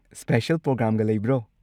Special ꯄ꯭ꯔꯣꯒ꯭ꯔꯥꯝꯒ ꯂꯩꯕ꯭ꯔꯣ?